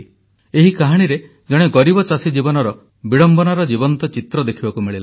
ଏହି କାହାଣୀରେ ଜଣେ ଗରିବ ଚାଷୀ ଜୀବନର ବିଡ଼ମ୍ବନାର ଜୀବନ୍ତ ଚିତ୍ର ଦେଖିବାକୁ ମିଳିଲା